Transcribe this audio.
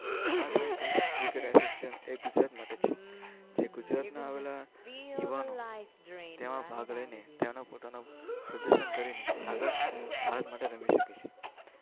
આ ત્રણ cricket association Gujarat માટે છે. ગુજરાતના યુવાનો તેમાં ભાગ લઈને તેમાં પોતાનું પ્રદર્શન કરીને આગળ ભારત માટે રમી શકે છે.